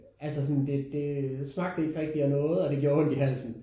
Altså sådan det det smagte ikke rigtig af noget og det gjorde ondt i halsen